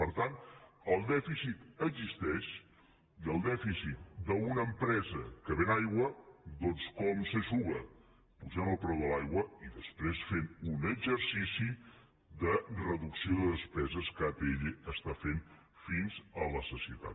per tant el dèficit existeix i el dèficit d’una empresa que ven aigua doncs com s’eixuga apujant el preu de l’aigua i després fent un exercici de reducció de despeses que atll està fent fins a la sacietat